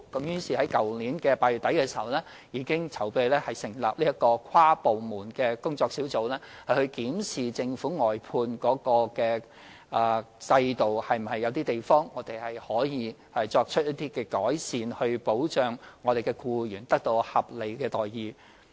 於是，在去年8月底，我們已籌備成立這個跨部門工作小組，負責檢視政府的外判制度有何可以改善之處，以保障僱員得到合理待遇。